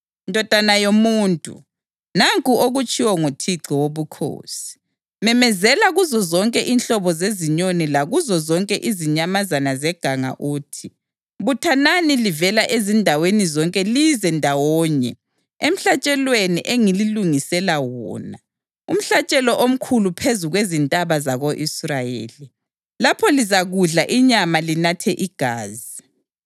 Ndodana yomuntu, nanku okutshiwo nguThixo Wobukhosi: Memezela kuzozonke inhlobo zezinyoni lakuzo zonke izinyamazana zeganga uthi: ‘Buthanani livela ezindaweni zonke lize ndawonye emhlatshelweni engililungisela wona, umhlatshelo omkhulu phezu kwezintaba zako-Israyeli. Lapho lizakudla inyama linathe igazi.